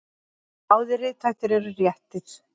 Báðir rithættir eru réttir.